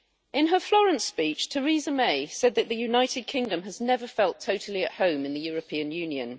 In her Florence speech, Theresa May said that the United Kingdom has never felt totally at home in the European Union.